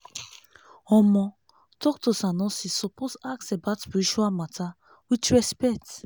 omo! doctors and nurses suppose ask about spiritual matter with respect.